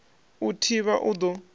u i thivha u ḓo